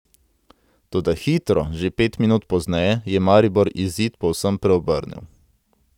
Toda hitro, že pet minut pozneje, je Maribor izid povsem preobrnil.